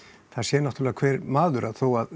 það sér náttúrulega hver maður að þó